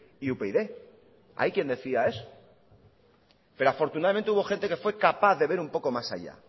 y upyd hay quien decía eso pero afortunadamente hubo gente que fue capaz de ver un poco más allá